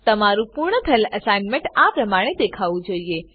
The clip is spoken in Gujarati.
તમારું પૂર્ણ થયેલ એસાઇનમેંટ આ પ્રમાણે દેખાવું જોઈએ